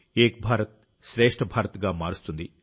ఏక్ భారత్ శ్రేష్ట్ భారత్ గా మారుస్తుంది